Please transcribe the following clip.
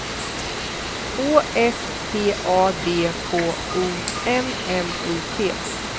Å S T A D K O M M I T